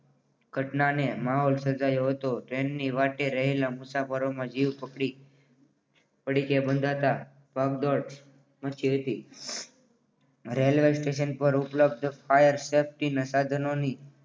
ઘટનાને માહોલ સર્જાયો હોય તો ટ્રેનની વાટે રહેલા મુસાફરોનો જીવ ફફડી પડી કે બંધાતા ભાગદોડ વાંચી હતી મચી હતી રેલવે સ્ટેશન પર ઉપલબ્ધ ફાયર સેફ્ટી ના સાધનોની